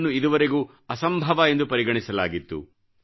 ಇದನ್ನು ಇದುವರೆಗೂ ಅಸಂಭವ ಎಂದು ಪರಿಗಣಿಸಲಾಗಿತ್ತು